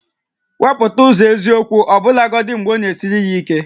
Wepụta eziokwu ụzọ ọbụlagodi mgbe ọ na-esiri ya ike